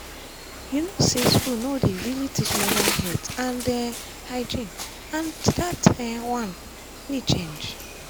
you know say school no dey really teach menstrual health and um hygiene and that um one need change.